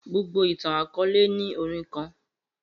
Gbogbo itan-akọọlẹ ni orin kan